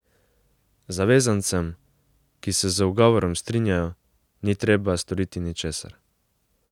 Zavezancem, ki se z ugovorom strinjajo, ni treba storiti ničesar.